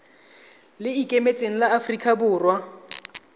le ikemetseng la aforika borwa